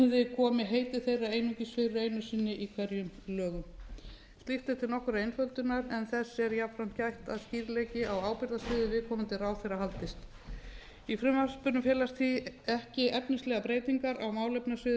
komi heiti þeirra einungis fyrir einu sinni í hverjum lögum slíkt er til nokkurrar einföldunar en þess er jafnframt gætt að skýrleiki á ábyrgðarsviði viðkomandi ráðherra haldist eins frumvarpinu felast því ekki efnislegar breytingar á málefnasviðum